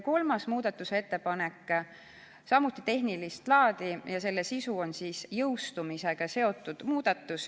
Kolmas muudatusettepanek on samuti tehnilist laadi ja see puudutab seaduse jõustumise aega.